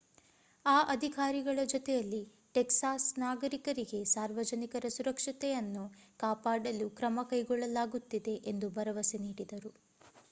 ಆ ಅಧಿಕಾರಿಗಳ ಜೊತೆಯಲ್ಲಿ ಟೆಕ್ಸಾಸ್ ನಾಗರಿಕರಿಗೆ ಸಾರ್ವಜನಿಕರ ಸುರಕ್ಷತೆಯನ್ನು ಕಾಪಾಡಲು ಕ್ರಮ ಕೈಗೊಳ್ಳಲಾಗುತ್ತಿದೆ ಎಂದು ಭರವಸೆ ನೀಡಿದರು